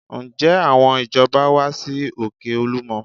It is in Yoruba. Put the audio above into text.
Ǹjẹ́ àwọn ìjọba wá sí òkè Olúmọ?